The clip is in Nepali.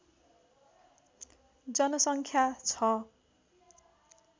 जनसङ्ख्या छ